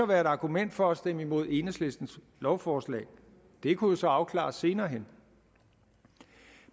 være et argument for at stemme imod enhedslistens lovforslag det kunne jo så afklares senere hen